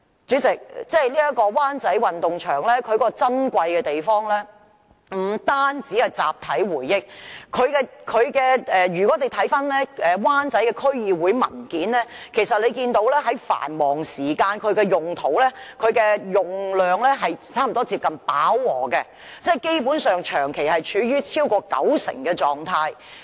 主席，灣仔運動場珍貴之處，不單是集體回憶，如果翻看灣仔區議會的文件，其實會看到它在繁忙時間的用途及用量，差不多接近飽和，基本上是長期處於超過九成的狀態。